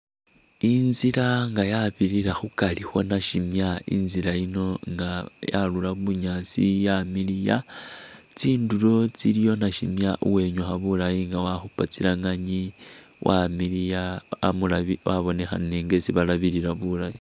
Inzila nga yabirira khukari khwa nashimya, inzila yino nga yarura bunyaasi yamiliya. Tsindulo tsiliyo nashimya uwenyukha bulayi nga wakhupa tsilanganyi wamiliya wabonekhanile nga esi balabilila bulayi.